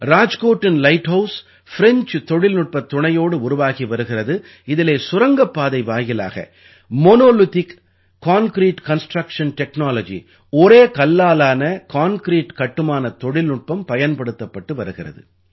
ராஜ்கோட்டின் light house French தொழில்நுட்பத் துணையோடு உருவாகி வருகிறது இதிலே சுரங்கப்பாதை வாயிலாக மோனோலித்திக் கான்கிரீட் கன்ஸ்ட்ரக்ஷன் டெக்னாலஜி ஒரே கல்லாலான கான்கிரீட் கட்டுமானத் தொழில்நுட்பம் பயன்படுத்தப்பட்டு வருகிறது